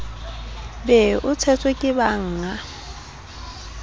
be o tshetswe ke bannga